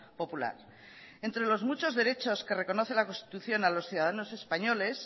popular entre los muchos derechos que reconoce la constitución a los ciudadanos españoles